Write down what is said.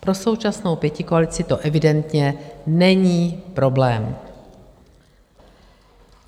Pro současnou pětikoalici to evidentně není problém.